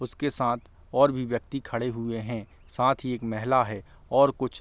उसके साथ और भी व्यक्ति खड़े हुए हैं। साथ ही एक मेहला है और कुछ --